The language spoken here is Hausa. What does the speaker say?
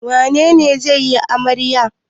Wane ne zai yi amarya?